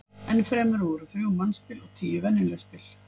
Enn fremur voru þrjú mannspil og tíu venjuleg spil.